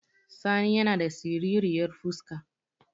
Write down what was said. Sani yana da siriryar fuska